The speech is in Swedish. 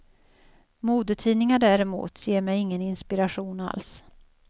Modetidningar däremot ger mig ingen inspiration alls.